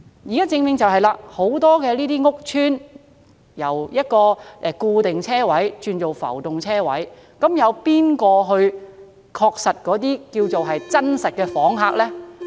問題是，現時很多屋邨內的固定車位均轉為浮動車位，究竟由誰來確定哪些是真實訪客呢？